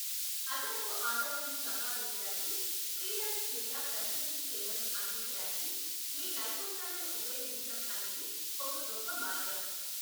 అదనపు ఆదాయాన్ని సంపాదించడానికి ఫ్రీలాన్స్ లేదా కన్సల్టింగ్ సేవలను అందించడానికి మీ నైపుణ్యాలను ఉపయోగించడం అనేది ఒక గొప్ప మార్గం.